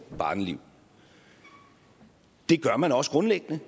børneliv det gør man også grundlæggende